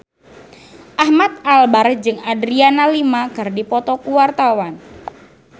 Ahmad Albar jeung Adriana Lima keur dipoto ku wartawan